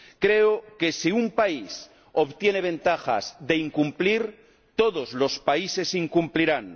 Creo que, si un país obtiene ventajas de incumplir, todos los países incumplirán.